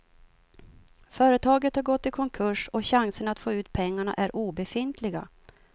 Företaget har gått i konkurs och chanserna att få ut pengarna är obefintliga.